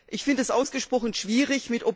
Ich finde dies ausgesprochen schwierig.